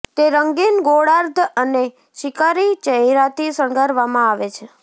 તે રંગીન ગોળાર્ધ અને શિકારી ચહેરાથી શણગારવામાં આવે છે